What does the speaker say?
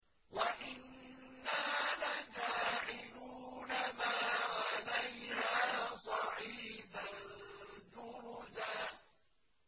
وَإِنَّا لَجَاعِلُونَ مَا عَلَيْهَا صَعِيدًا جُرُزًا